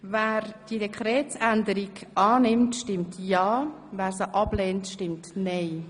Wer diese Dekretsänderung annimmt, stimmt ja, wer sie ablehnt, stimmt nein.